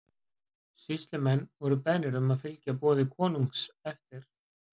Sýslumenn voru beðnir um að fylgja boði konungs eftir.